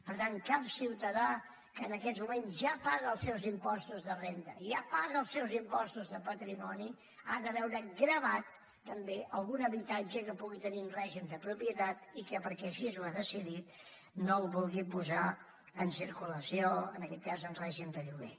per tant cap ciutadà que en aquests moments ja paga els seus impostos de renda ja paga els seus impostos de patrimoni ha de veure gravat també algun habitatge que pugui tenir en règim de propietat i que perquè així ho ha decidit no el vulgui posar en circulació en aquest cas en règim de lloguer